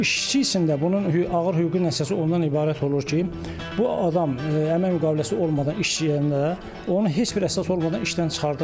İşçi üçün də bunun ağır hüquqi nəticəsi ondan ibarət olur ki, bu adam əmək müqaviləsi olmadan işləyəndə, onun heç bir əsası olmadan işdən çıxardırlar.